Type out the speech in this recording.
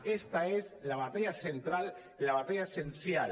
aquesta és la batalla central i la batalla essencial